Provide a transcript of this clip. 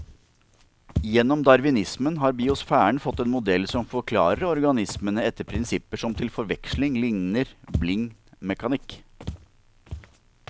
Gjennom darwinismen har biosfæren fått en modell som forklarer organismene etter prinsipper som til forveksling ligner blind mekanikk.